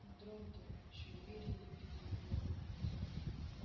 дрон-тон ещё уверенней крикнул ворон